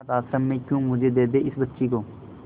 अनाथ आश्रम में क्यों मुझे दे दे इस बच्ची को